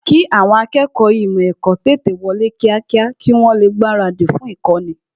kì àwọn akẹ́kọ̀ọ́ ímò èkó tètè wọlé kíákíá kí wọ́n lè gbaradì fún īkóni